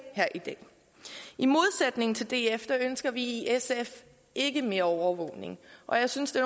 her i dag i modsætning til df ønsker vi i sf ikke mere overvågning og jeg synes det